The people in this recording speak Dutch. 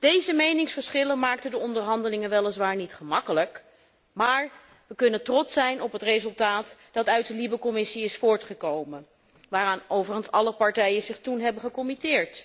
Deze meningsverschillen maakten de onderhandelingen weliswaar niet gemakkelijk, maar we kunnen trots zijn op het resultaat dat uit de Commissie LIBE is voortgekomen en waaraan overigens alle partijen zich toen hebben verbonden.